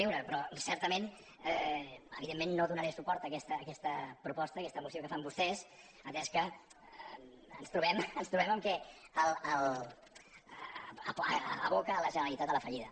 re però certament evidentment no donaré suport a aquesta proposta a aquesta moció que fan vostès atès que ens trobem que aboca la generalitat a la fallida